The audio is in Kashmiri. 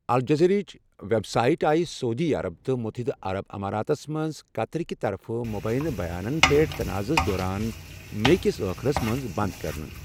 الجزیراہٕچ وٮ۪ب سایٹ آیہ سعودی عرب تہٕ متحدہ عرب اماراتس منٛز قطرٕ كہِ طرفہٕ مبیِنہٕ بیانن پٮ۪ٹھ تناعضس دوران مے کِس ٲخرس منز بنٛد کٔرنہٕ ۔